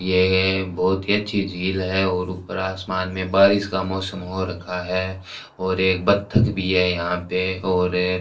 यह बहुत ही अच्छी झील है और ऊपर आसमान में बारिश का मौसम हो रखा है और एक बत्तख भी है यहां पे और --